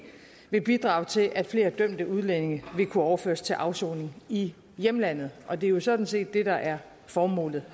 vil bidrage til at flere dømte udlændinge vil kunne overføres til afsoning i hjemlandet og det er jo sådan set det der er formålet